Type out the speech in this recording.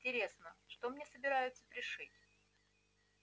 интересно что мне собираются пришить